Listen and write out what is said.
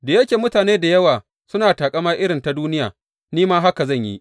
Da yake mutane da yawa suna taƙama irin ta duniya, ni ma haka zan yi.